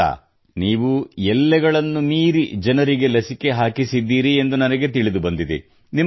ಹೌದಾ ನೀವು ಎಲ್ಲೆಗಳನ್ನು ಮೀರಿ ಜನರಿಗೆ ಲಸಿಕೆ ಹಾಕಿಸಿದ್ದೀರಿ ಎಂದು ನನಗೆ ತಿಳಿದುಬಂದಿದೆ